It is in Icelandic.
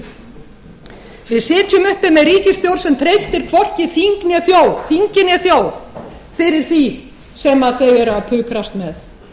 sitjum uppi með ríkisstjórn sem treystir hvorki þingi né þjóð fyrir því sem þau eru að pukrast með